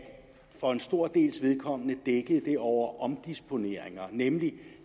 for en stor dels vedkommende dækkede det over omdisponeringer nemlig